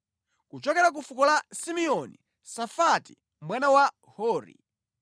kuchokera ku fuko la Simeoni, Safati mwana wa Hori;